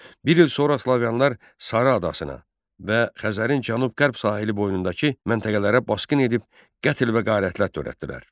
Bir il sonra slavyanlar Sara adasına və Xəzərin cənub-qərb sahili boyundakı məntəqələrə basqın edib qətl və qarətlər törətdilər.